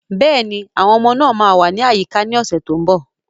Yes, the children will be around next week